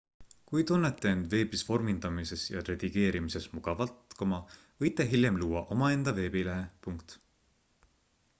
kui tunnete end veebis vormindamises ja redigeerimises mugavalt võite hiljem luua omaenda veebilehe